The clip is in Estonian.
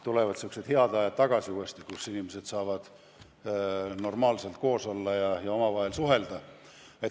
Tulevad tagasi head ajad, kui inimesed saavad normaalselt koos olla ja omavahel suhelda.